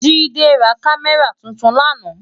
Jide rá Kàmèrá tútún làná